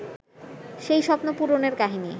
সেই স্বপ্ন পূরণের কাহিনি